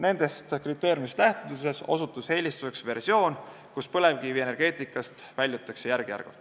Nendest kriteeriumidest lähtudes osutus eelistatavaks versioon, et põlevkivienergeetikast väljutakse järk-järgult.